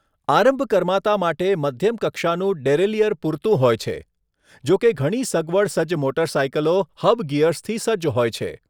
આરંભકર્માંતા માટે મધ્યમ કક્ષાનું ડેરેલિયર પૂરતું હોય છે, જોકે ઘણી સગવડ સજ્જ મોટરસાયકલો હબ ગિયર્સથી સજ્જ હોય છે.